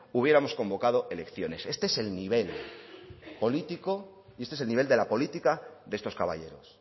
hubiéramos convocado elecciones este es el nivel político y este es el nivel de la política de estos caballeros